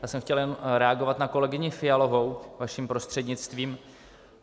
Já jsem chtěl jen reagovat na kolegyni Fialovou, vaším prostřednictvím.